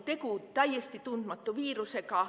Tegu oli täiesti tundmatu viirusega.